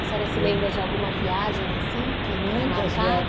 A senhora se lembra de alguma viagem assim Muitas viagens que tenha marcado?